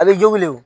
A bɛ jogili